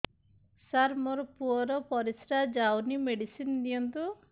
ସାର ମୋର ପୁଅର ପରିସ୍ରା ଯାଉନି ମେଡିସିନ ଦିଅନ୍ତୁ